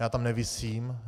Já tam nevisím